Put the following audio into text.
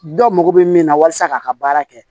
Dɔ mago bɛ min na walasa k'a ka baara kɛ